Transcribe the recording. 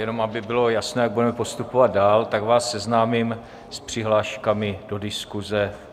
Jenom aby bylo jasno, jak budeme postupovat dál, tak vás seznámím s přihláškami do diskuze.